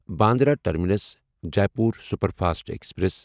Bandra terminus Jaipur superfast express